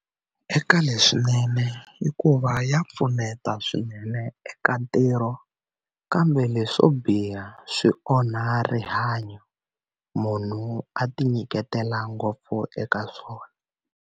Eka leswinene hikuva ya pfuneta swinene eka ntirho kambe leswo biha swi onha rihanyo munhu a tinyiketela ngopfu eka swona.